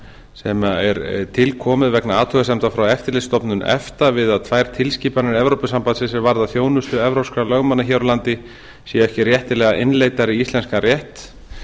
sem er tilkomið vegna athugasemda frá eftirlitsstofnun efta við að tvær tilskipanir evrópusambandsins er varða þjónustu evrópskra lögmanna hér á landi séu ekki réttilega innleiddar í íslenskan rétt